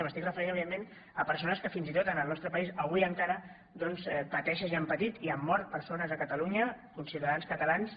m’estic referint evidentment a persones que fins i tot en el nostre país avui encara doncs pateixen i han patit i han mort persones a catalunya conciutadans catalans